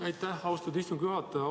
Aitäh, austatud istungi juhataja!